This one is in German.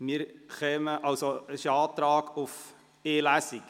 Es besteht der Antrag auf die Durchführung von nur einer Lesung.